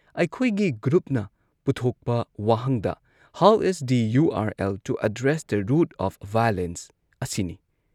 ꯑꯩꯈꯣꯏꯒꯤ ꯒ꯭꯭ꯔꯨꯞꯅ ꯄꯨꯊꯣꯛꯄ ꯋꯥꯍꯪꯗ "how is the U R L to address the root of violence" ꯑꯁꯤꯅꯤ꯫